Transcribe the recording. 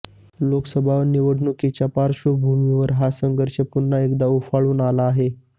लोकसभा निवडणुकीच्या पार्श्वभूमीवर हा संघर्ष पुन्हा एकदा उफाळून आला आहे